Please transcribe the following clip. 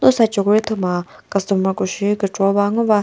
lu side cho ko ri thüma customer ko shi kükro ba ngo ba.